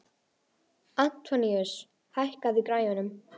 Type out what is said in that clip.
Antoníus, hækkaðu í græjunum.